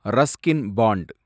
Ruskin bond